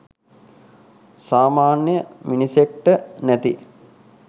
සාමාන්‍ය මිනිසෙක්ට නැති